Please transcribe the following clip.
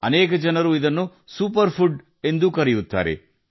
ಅನೇಕ ಜನರು ಇದನ್ನು ಸೂಪರ್ಫುಡ್ ಎಂದೂ ಕರೆಯುತ್ತಾರೆ